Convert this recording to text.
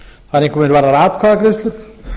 það er einkum er varðar atkvæðagreiðslur